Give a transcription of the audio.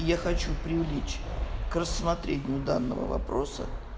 я хочу привлечь к рассмотрению данного вопроса